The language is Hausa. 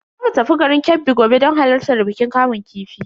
Zamu tafi garin Kebbi gobe don halartar bikin kamun kifi.